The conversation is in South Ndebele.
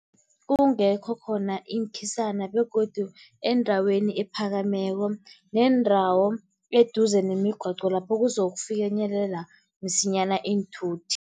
Kungekho khona iinkhisana begodu endaweni ephakameko, neendawo eduze nemigwaqo lapho kuzokufinyelela msinyana iinthuthi.